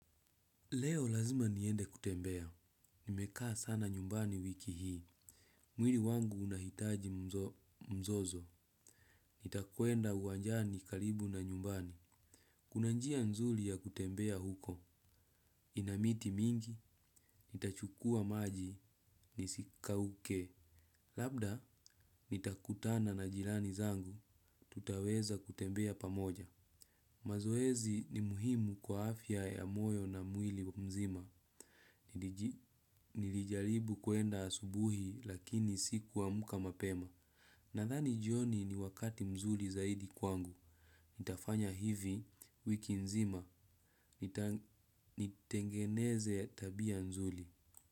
Leo lazima niende kutembea. Nimekaa sana nyumbani wiki hii. Mwili wangu unahitaji mzozo. Nitakwenda uwanjani karibu na nyumbani. Kuna njia nzuli ya kutembea huko. Ina miti mingi, nitachukua maji, nisikauke. Labda, nitakutana na jirani zangu, tutaweza kutembea pamoja. Mazoezi ni muhimu kwa afya ya moyo na mwili mzima. Nilijaribu kwenda asubuhi lakini sikuamuka mapema nadhani jioni ni wakati mzuri zaidi kwangu. Nitafanya hivi wiki nzima. Nitengeneze tabia nzuli.